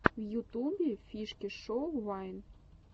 в ютубе фишки шоу вайн